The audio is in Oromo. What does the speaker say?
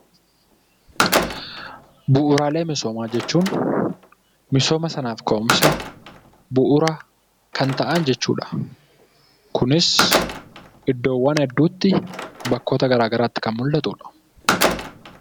Bu'uuraalee misoomaa jechuun misooma sanaaf ka'umsa bu'uura kan ta'an jechuudha. Kunis iddoowwan hedduutti bakkoota garaa garaatti kan mullatudha.